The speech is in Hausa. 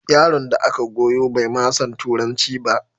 Yaron da aka goyo bai ma san Turanci ba